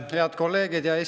Head kolleegid!